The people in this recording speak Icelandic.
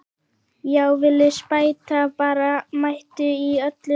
Já, Villi spæta bara mættur í öllu sínu veldi!